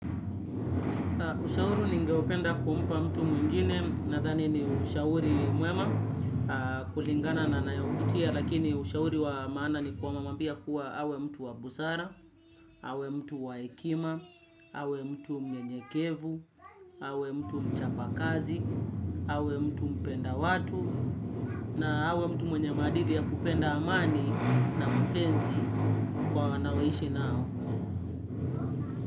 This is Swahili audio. Ushauri ningeupenda kumpa mtu mwingine nadhani ni ushauri mwema kulingana na anayopitia lakini ushauri wa maana ni kumwambia kuwa awe mtu wa busara, awe mtu wa hekima, awe mtu mnyenyekevu, awe mtu mchapakazi, awe mtu mpenda watu, na awe mtu mwenye maadili ya kupenda amani na mapenzi, kwa anaoishi nao.